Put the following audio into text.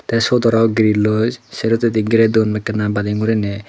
te siot aro grill lo serohitedi girey duon ekkena bading guriney.